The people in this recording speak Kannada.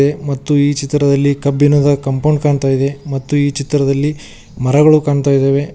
ಮತ್ತು ಈ ಚಿತ್ರದಲ್ಲಿ ಕಬ್ಬಿಣದ ಕಾಂಪೌಂಡ್ ಕಾಣ್ತಾ ಇದೆ ಮತ್ತು ಈ ಚಿತ್ರದಲ್ಲಿ ಮರಗಳು ಕಾಣ್ತಾ ಇದ್ದಾವೆ.